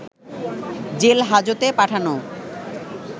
jail হাজতে পাঠানো